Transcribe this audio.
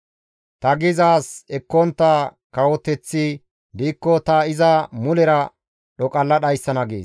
Ta gizaaz ekkontta kawoteththi diikko ta iza mulera dhoqalla dhayssana» gees.